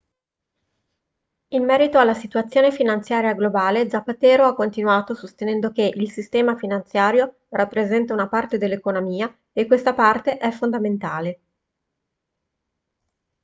in merito alla situazione finanziaria globale zapatero ha continuato sostenendo che il sistema finanziario rappresenta una parte dell'economia e questa parte è fondamentale